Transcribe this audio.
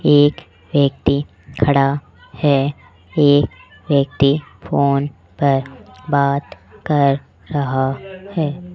एक व्यक्ति खड़ा है एक व्यक्ति फोन पर बात कर रहा है।